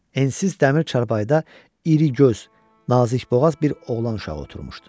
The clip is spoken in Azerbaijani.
Ensiz dəmir çarpayıda irigöz, nazikboğaz bir oğlan uşağı oturmuşdu.